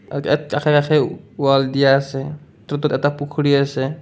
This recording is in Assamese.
আৰু ইয়াত কাষে কাষে ৱাল্ দিয়া আছে এটা পুখুৰী আছে।